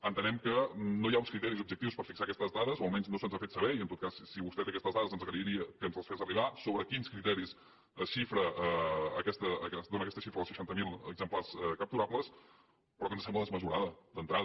entenem que no hi ha uns criteris objectius per fixar aquestes dades o almenys no se’ns ha fet saber i en tot cas si vostè té aquestes dades li agrairia que ens les fes arribar sobre quins criteris dóna aquesta xifra dels seixanta mil exemplars capturables però que ens sembla desmesurada d’entrada